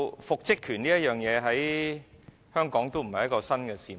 復職權在香港並非新事物。